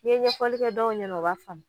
N'i ye ɲɛfɔli kɛ dɔw ɲɛna o b'a faamu.